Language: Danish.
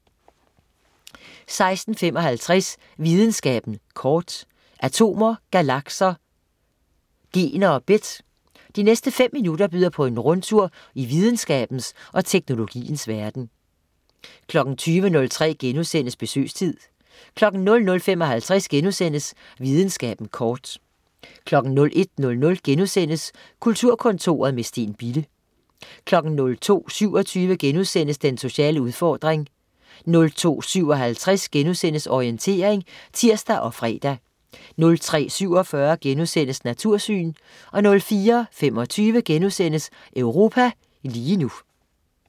16.55 Videnskaben kort. Atomer, galakser, gener og bit. De næste fem minutter byder på en rundtur i videnskabens og teknologiens verden 20.03 Besøgstid* 00.55 Videnskaben kort* 01.00 Kulturkontoret, med Steen Bille* 02.27 Den sociale udfordring* 02.57 Orientering* (tirs og fre) 03.47 Natursyn* 04.25 Europa lige nu*